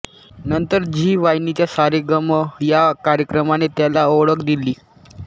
नंतर झी वाहिनीच्या सा रे ग म या कार्यक्रमाने त्याला ओळख दिली